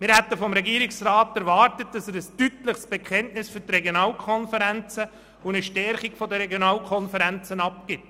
Wir hätten vom Regierungsrat erwartet, dass er ein deutliches Bekenntnis für die Regionalkonferenzen und deren Stärkung abgibt.